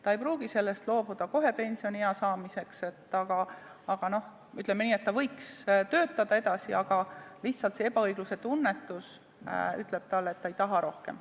Ta ei pruugi sellest loobuda kohe pensioniea saabudes, kuid kui ta võiks edasi töötada, siis lihtsalt selle ebaõigluse tunnetuse tõttu ta ütleb, et ta ei taha rohkem.